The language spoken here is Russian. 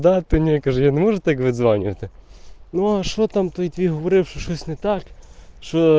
да ты не каждый может выиграть звание это ну а что там таить горевшие так что